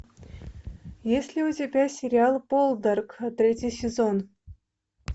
есть ли у тебя сериал полдарк третий сезон